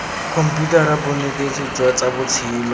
khomputara bonetetshi jwa tsa botshelo